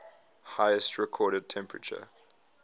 highest recorded temperature